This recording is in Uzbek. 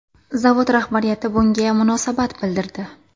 Zavod rahbariyati bunga munosabat bildirdi.